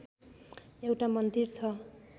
एउटा मन्दिर छ